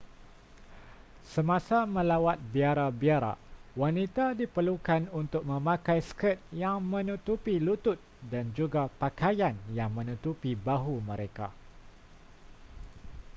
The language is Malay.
semasa melawat biara-biara wanita diperlukan untuk memakai skirt yang menutupi lutut dan juga pakaian yang menutupi bahu mereka